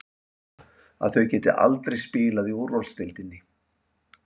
Að þau geti aldrei spilað í úrvalsdeildinni?